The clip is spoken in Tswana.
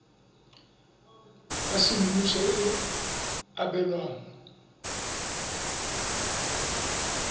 ya semmuso e e abelwang